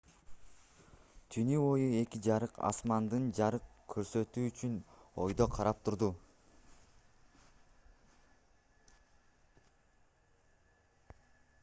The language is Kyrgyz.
түнү бою эки жарык асманды жарык көрсөтүү үчүн өйдө карап турду